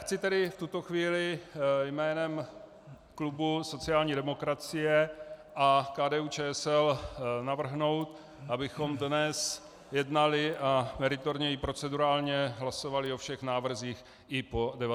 Chci tedy v tuto chvíli jménem klubu sociální demokracie a KDU-ČSL navrhnout, abychom dnes jednali a meritorně i procedurálně hlasovali o všech návrzích i po 19. hodině.